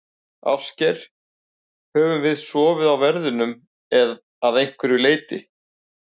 Ásgeir: Höfum við sofið á verðinum að einhverju leyti?